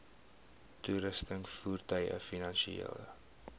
toerusting voertuie finansiële